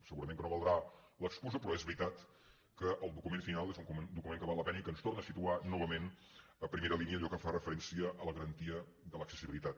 segurament que no valdrà l’excusa però és veritat que el document final és un document que val la pena i que ens torna a situar novament a primera línia allò que fa referència a la garantia de l’accessibilitat